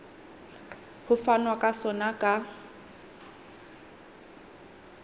ho fanwa ka sona ka